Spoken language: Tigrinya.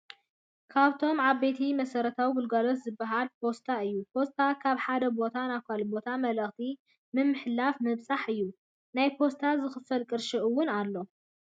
ካብቶም ዓበይቲ መሰረታዊ ግልጋሎት ዝበሃሉ ፖስታ እዩ። ፖስታ ካብ ሓደ ቦታ ናብ ካሊእ ቦታ መልእኽቲ ምምሕልላፍ ምብፃሕ እዩ። ናይ ፖስታ ዝክፈል ቅርሺ አውን ኣሎ።